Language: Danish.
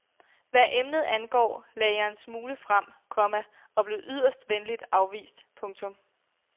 Hvad emnet angår lagde jeg en smule frem, komma og blev yderst venligt afvist. punktum